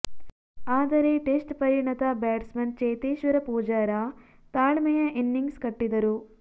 ಆದರೆ ಟೆಸ್ಟ್ ಪರಿಣತ ಬ್ಯಾಟ್ಸ್ಮನ್ ಚೇತೇಶ್ವರ ಪೂಜಾರ ತಾಳ್ಮೆಯ ಇನಿಂಗ್ಸ್ ಕಟ್ಟಿದರು